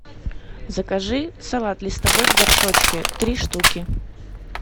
закажи салат листовой в горшочке три штуки